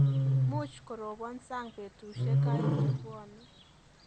Muuch koroban sang betushek aeng chenwone